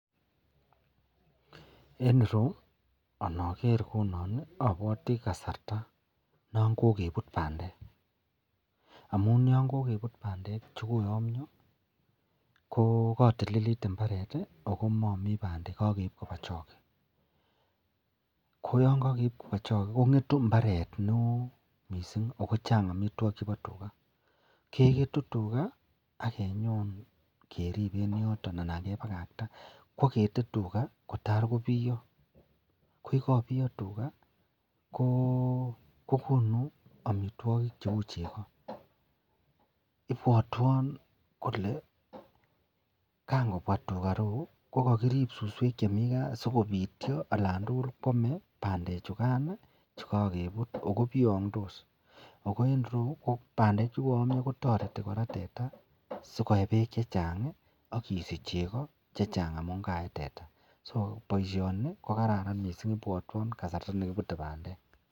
En ireyu inoker kou non obwote kasarta non kokebut bandek chekoyomnyo ko kotililit imbaret ak ko momi bandek ko kebochok, oo yoon kokeib koba choko kongetu imbaret neoo mising kochang amitwokikab tukaa, keketu tukaa ak inyon keriben en yoton anan kebakakta, kwakete tukaa kotaa kobiyo, ko yekobiyo tukaa ko kokonu amitwokik cheuu cheko, ibwotwon kolee kan kobwa tukaa ireyu ko kokirib suswek chemi kaa sikobityo olan tukul kwome bandechukan chekokebut ak ko biyongdos ak ko en ireyu bandek chekoyomnyo kotoreti teta sikoyee beek chechang ak isich chekoocechang amun kaee teta, so boi shoni ko kaaran mising ibwotwon kasarta nekibute bandek.